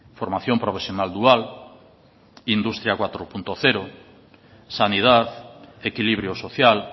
formación profesional dual industria cuatro punto cero sanidad equilibrio social